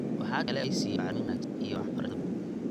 Waxa kale oo ay siiyeen bacrimin wanaagsan iyo waxbarashada beeraha.